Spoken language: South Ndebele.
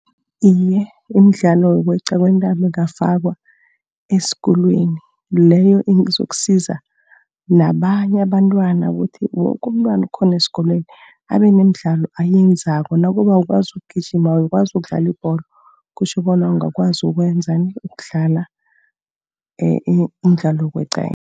Iye, imidlalo yokweqa kwentambo ingafakwa esikolweni. Leyo izokusiza nabanye abantwana ukuthi woke umntwana okhona esikolweni, abe nemidlalo ayenzako. Nakube awukwazi ukugijima, awukwazi ukudlala ibholo, kutjho bona ungakwazi ukwenzani ukudlala umdlalo wokweqayeqa.